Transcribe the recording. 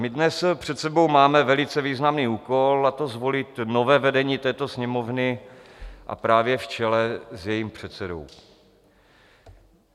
My dnes před sebou máme velice významný úkol, a to zvolit nové vedení této Sněmovny, a právě v čele s jejím předsedou.